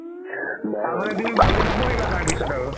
তাৰমানে তুমি ভালকে নপঢ়িৰিবা পিছত আৰু